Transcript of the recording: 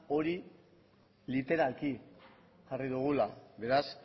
hori literalki jarri dugula beraz